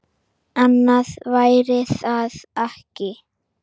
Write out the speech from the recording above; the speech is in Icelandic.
Annað væri það ekki.